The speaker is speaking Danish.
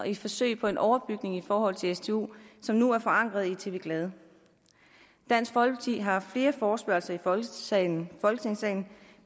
et forsøg på en overbygning i forhold til stu som nu er forankret i tv glad dansk folkeparti har haft flere forespørgsler i folketingssalen for